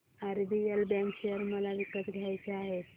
RBL bank share मला विकत घ्यायचे आहेत